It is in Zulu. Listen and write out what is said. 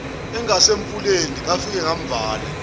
engasemfuleni ngafike ngavala